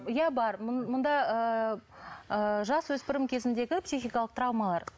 иә бар мұнда ыыы жасөспірім кезіндегі психикалық травмалар